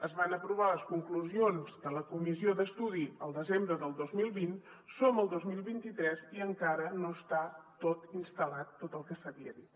es van aprovar les conclusions de la comissió d’estudi el desembre del dos mil vint som al dos mil vint tres i encara no està tot instal·lat tot el que s’havia dit